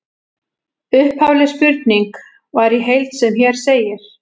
Upphafleg spurning var í heild sem hér segir: